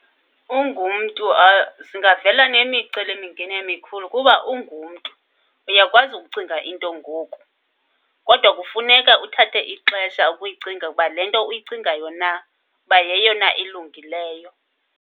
Ungumntu zingavela nemicelimingeni emikhulu, kuba ungumntu uyakwazi ukucinga into ngoku kodwa kufuneka uthathe ixesha ukuyicinga ukuba le nto uyicingayo na uba yeyona ilungileyo.